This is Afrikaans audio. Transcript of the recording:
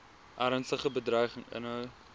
ernstige bedreiging inhou